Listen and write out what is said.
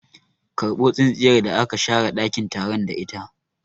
Karbo tsintsiyar da aka share ɗakin taron da ita!